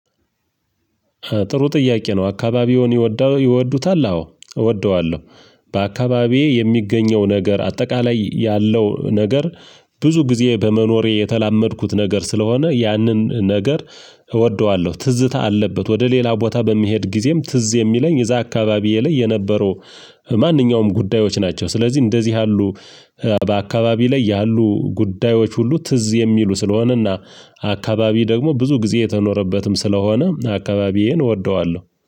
ጥሩ ጥያቄ ነው? አካባቢውን ይወዱታል አዎ እወደዋለሁ በአካባቢዬ የሚገኘው ነገር አጠቃላይ ያለው ነገር ብዙ ጊዜ በመኖሬ የተላመድኩት ነገር ስለሆነ ያንን ነገር እወደዋለሁ። ትዝታ አለበት ወደ ሌላ ቦታ በሚሄድ ጊዜም ትዝ የሚለኝ እዛ አካባቢዬ የለይ የነበሩ ማንኛውም ጉዳዮች ናቸው። ስለዚህ እንደዚህ ያሉ በአካባቢ ላይ ያሉ ጉዳዮች ሁሉ ትዝ የሚሉ ስለሆነና። አካባቢ ደግሞ ብዙ ጊዜ የተኖረበትም ስለሆነ አካባቢዬን እወደዋለሁ